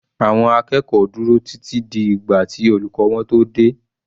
Àwọn akẹ́kọ̀ọ́ dúró títí di ìgbà tí olùkọ́ wọn tó dé.